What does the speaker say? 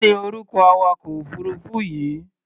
Kí ni orúkọ awakọ̀-òfuurufú yìí?